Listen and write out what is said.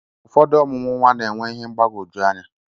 Ụfọdụ ọmụmụ nwa na-enwe ihe mgbagwoju anya.